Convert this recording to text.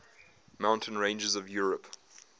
mountain ranges of europe